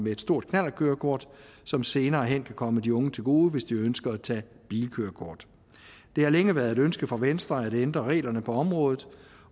et stort knallertkørekort som senere hen kan komme de unge til gode hvis de ønsker at tage bilkørekort det har længe været et ønske for venstre at ændre reglerne på området